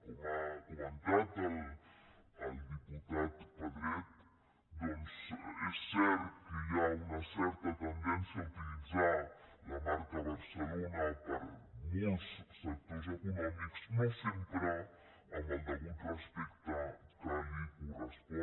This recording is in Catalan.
com ha comentat el diputat pedret doncs és cert que hi ha una certa tendència a utilitzar la marca barcelona per a molts sectors econòmics no sempre amb el respecte degut que li correspon